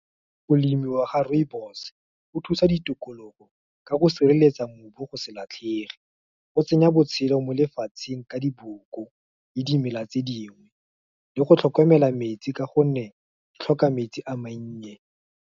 Go lemiwa ga rooibos, go thusa ditokologo ka go sireletsa mobu go se latlhege, go tsenya botshelo mo lefatsheng ka diboko, le dimela tse dingwe, le go tlhokomela metsi ka gonne di tlhoka metsi a mannye.